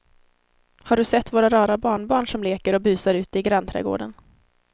Har du sett våra rara barnbarn som leker och busar ute i grannträdgården!